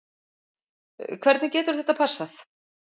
Hvernig getur þetta passað??